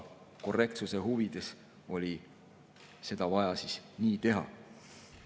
Korrektsuse huvides oli seda vaja nii teha.